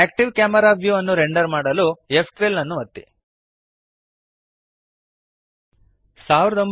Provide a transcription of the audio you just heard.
active camera view ಅನ್ನು render ಮಾಡಲು ಫ್12 ಅನ್ನು ಒತ್ತಿರಿ